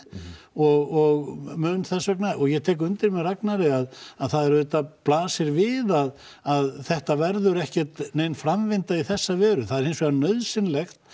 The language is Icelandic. og mun þess vegna og ég tek undir með Ragnari að að það blasir við að að þetta verður ekkert nein framvinda í þessa veru það er hins vegar nauðsynlegt